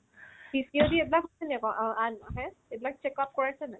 PCOD এইবিলাক আ ~ আছে এইবিলাক checkout কৰাইছানে নাই ?